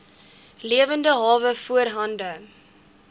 lewende hawe voorhande